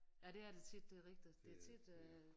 Ja det er det tit det er rigtigt det tit øh